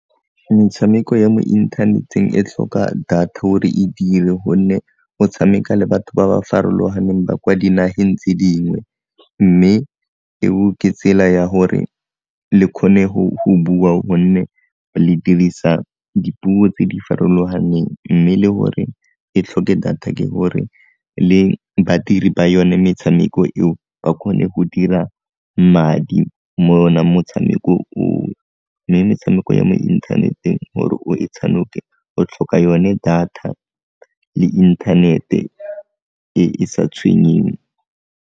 Metshameko ya mo inthaneteng e tlhoka data gore e dire, gonne go tshameka le batho ba ba farologaneng ba kwa dinageng tse dingwe mme eo ke tsela ya gore le kgone go bua gonne le dirisa dipuo tse di farologaneng mme le gore e tlhoke data ke gore le badiri ba yone metshameko eo ba kgone go dira madi mo ona motshameko oo mme metshameko ya mo inthaneteng gore o e tshanoke o tlhoka yone data le inthanete e e sa tshwenyeng.